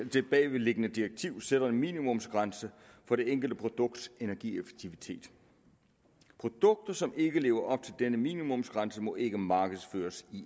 det bagvedliggende direktiv sætter en minimumsgrænse for det enkelte produkts energieffektivitet produkter som ikke lever op til denne minimumsgrænse må ikke markedsføres i